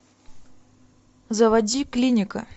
заводи клиника